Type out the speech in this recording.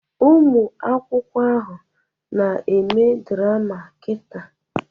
Ụmụ akwụkwọ ahụ na-eme drama kita.